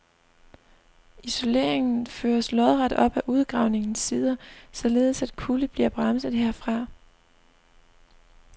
Isoleringen føres lodret op ad udgravningens sider, således at kulde bliver bremset herfra.